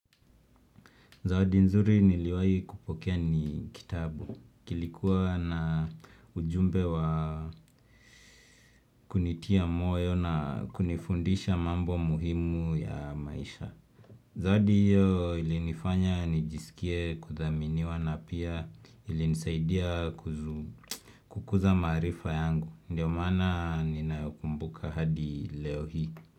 Zawadi nzuri niliwayi kupokea ni kitabu. Kilikuwa na ujumbe wa kunitia moyo na kunifundisha mambo muhimu ya maisha. Zawadi hiyo ilinifanya nijisikie kuthaminiwa na pia ilinisaidia kukuza marifa yangu. Ndiyo mana ninayeokumbuka hadi leo hii.